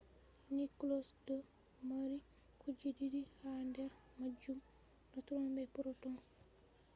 nucleus do mari kuje didi ha der majum - neutrons be protons